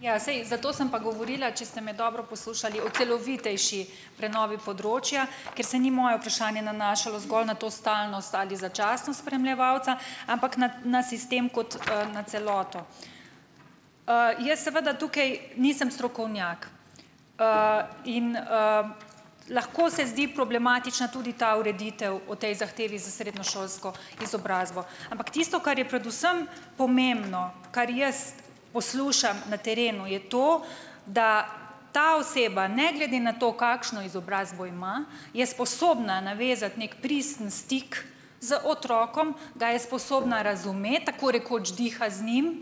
Ja, saj, zato sem pa govorila, če ste me dobro poslušali, o celovitejši prenovi področja, ker se ni moje vprašanje nanašalo zgolj na to stalnost ali začasnost spremljevalca, ampak na, na sistem kot, na celoto . jaz seveda tukaj nisem strokovnjak. in, lahko se zdi problematična tudi ta ureditev o tej zahtevi z srednješolsko izobrazbo , ampak tisto, kar je predvsem pomembno, kar jaz poslušam na terenu, je to, da ta oseba ne glede na to, kakšno izobrazbo ima, je sposobna navezati neki pristen stik z otrokom, da je sposobna razumeti, tako rekoč diha z njim,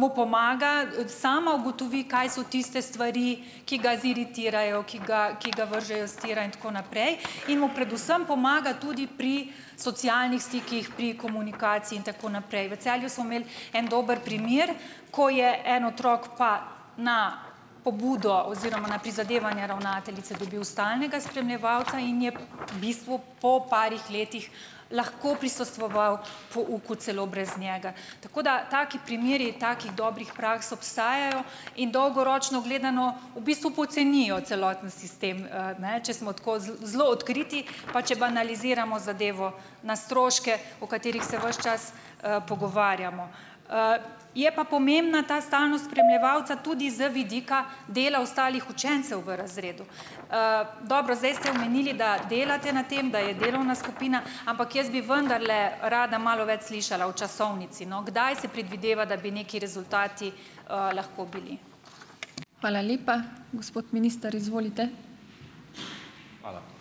mu pomaga, sama ugotovi, kaj so tiste stvari, ki ga ziritirajo, ki ga, ki ga vržejo s tira in tako naprej, in mu predvsem pomaga tudi pri socialnih stikih , pri komunikaciji in tako naprej. V Celju smo imeli en dober primer, ko je en otrok pa na pobudo oziroma na prizadevanje ravnateljice dobil stalnega spremljevalca in je v bistvu po parih letih lahko prisostvoval pouku celo brez njega. Tako da taki primeri, takih dobrih praks obstajajo in dolgoročno gledano v bistvu pocenijo celoten sistem, ne, če smo tako zelo odkriti, pa če banaliziramo zadevo na stroške, o katerih se ves čas, pogovarjamo. je pa pomembna ta stalnost spremljevalca tudi z vidika dela ostalih učencev v razredu. dobro, zdaj ste omenili, da delate na tem, da je delovna skupina , ampak jaz bi vendarle rada malo več slišala o časovnici, no. Kdaj se predvideva, da bi neki rezultati, lahko bili. Hvala lepa. Gospod minister, izvolite. Hvala.